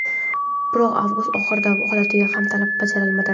Biroq avgust oxiri holatiga ham talab bajarilmadi.